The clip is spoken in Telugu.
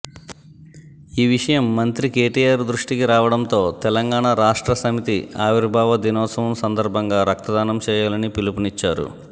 ఈ విషయం మంత్రి కేటీఆర్ దృష్టికి రావడంతో తెలంగాణ రాష్ట్ర సమితి ఆవిర్భావ దినోత్సవం సందర్భంగా రక్తదానం చేయాలని పిలుపునిచ్చారు